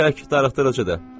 Tək darıxdırıcıdır.